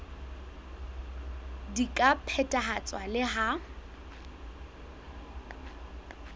di ka phethahatswa le ha